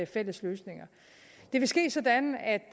fælles løsninger det vil ske sådan at